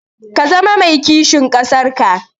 Ka zama mai kishin ƙasar ka.